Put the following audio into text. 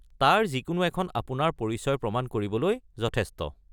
তাৰ যিকোনো এখন আপোনাৰ পৰিচয় প্ৰমাণ কৰিবলৈ যথেষ্ট।